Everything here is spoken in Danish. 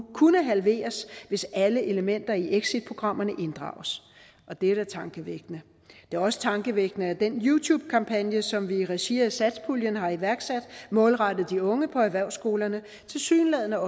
kunne halveres hvis alle elementer i exitprogrammerne inddrages det er da tankevækkende det er også tankevækkende at den youtube kampagne som vi i regi af satspuljen har iværksat målrettet de unge på erhvervsskolerne tilsyneladende